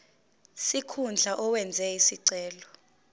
sikhundla owenze isicelo